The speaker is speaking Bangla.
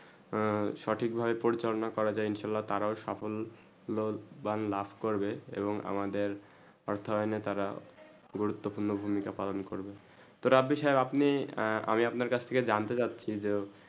সঠিক ভাবে পরিচলনা করা যায় ইনশালাঃ তারাও সফল বাংলা লাফ করবে এবং আমাদের অর্থ এনে তারা গুরুত্ব পূর্ণ ভূমিকা পালন করবে তা রাবি সাহেব আপনি আমি আপনার কাছ থেকে জানতে চাচী যে